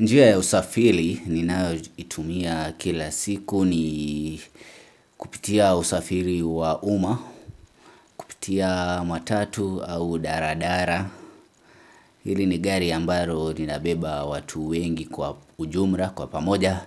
Njia ya usafiri ninayoitumia kila siku ni kupitia usafiri wa umma, kupitia matatu au daladala. Hili ni gari ambalo linabeba watu wengi kwa ujumla, kwa pamoja,